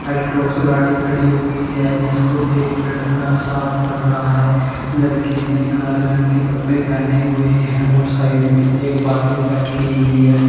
Altos गाड़ी खड़ी हुई है इसको एक लड़का साफ कर रहा है। लड़के ने काले रंग के कपड़े पहने हुए हैं और साइड में एक बाल्टी रखी हुई है।